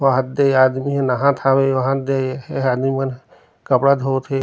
वहाद दे आदमी ह नहात हावे वहाद दे एह आदमी मन कपड़ा धोते हे।